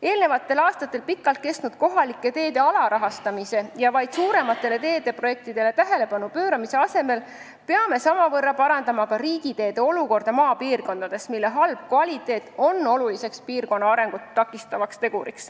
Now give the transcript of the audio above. Eelmistel aastatel pikalt kestnud kohalike teede alarahastamise ja vaid suurematele teeprojektidele tähelepanu pööramise asemel peame samavõrra parandama ka riigiteede olukorda maapiirkondades, sest nende halb kvaliteet on oluline piirkonna arengut takistav tegur.